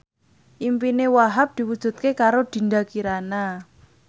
impine Wahhab diwujudke karo Dinda Kirana